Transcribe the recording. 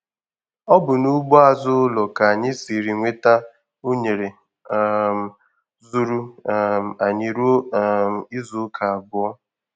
Ọ bụ n'ugbo azụ ụlọ ka anyị siri nweta únere um zuuru um anyị ruo um izu ụka abụọ.